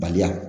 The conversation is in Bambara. Baliya